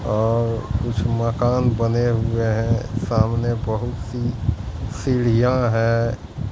और कुछ मकान बने हुए हैं सामने बहुत सी सीढ़ियां हैं।